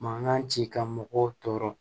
Mankan ci ka mɔgɔw tɔɔrɔ